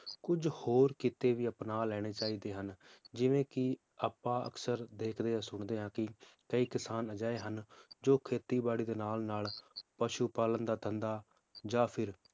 ਕੁਜ ਹੋਰ ਕੀਤੇ ਵੀ ਅਪਣਾ ਲੈਣੇ ਚਾਹੀਦੇ ਹਨ ਜਿਵੇ ਕਿ ਆਪਾਂ ਅਕਸਰ ਦੇਖਦੇ ਜਾਂ ਸੁਣਦੇ ਹਾਂ ਕਿ ਕਈ ਕਿਸਾਨ ਇਹੋ ਜਿਹੇ ਹਨ ਜੋ ਖੇਤੀ ਬਾੜੀ ਦੇ ਨਾਲ ਨਾਲ ਪਸ਼ੂ ਪਾਲਣ ਦਾ ਧੰਦਾ ਜਾਂ ਫਿਰ